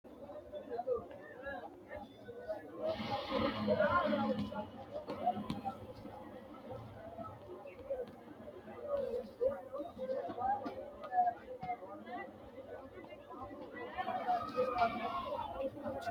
Yinni beetto angase gidu laallo hanqafe no. Tinni gidu loollo mannu itate horoonsiranote. Konni gidi su'ma no qamadete yinne woshinnanni.